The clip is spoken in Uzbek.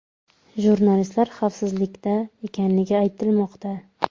Jurnalistlar xavfsizlikda ekanligi aytilmoqda.